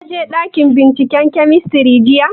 Ka je ɗakin binciken kemistri jiya?